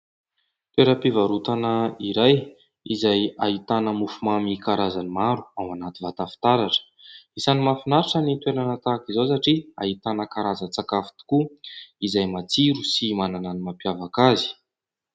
Toeram-pivarotana iray, izay ahitana mofomamy karazany maro, ao anaty vata fitaratra. Isany mahafinaritra ny toerana tahaka izao, satria ahitana karazan-tsakafo tokoa, izay matsiro sy manana ny mampiavaka azy.